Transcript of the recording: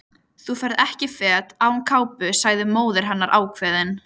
Þú ferð ekki fet án kápu sagði móðir hennar ákveðin.